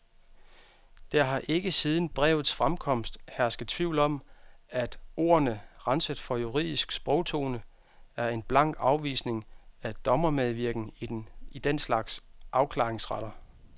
Der har ikke siden brevets fremkomst hersket tvivl om, at ordene, renset for juridisk sprogtone, er en blank afvisning af dommermedvirken i den slags afklaringsretter.